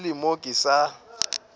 ke le mo ke sa